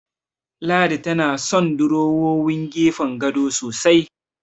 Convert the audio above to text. Ladi tana son durowowin gefen gado sosai.